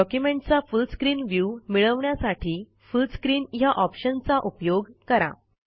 डॉक्युमेंटचा full screen view मिळवण्यासाठी full screen ह्या ऑप्शनचा उपयोग करा